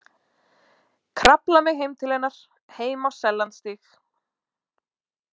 Krafla mig heim til hennar, heim á Sellandsstíg.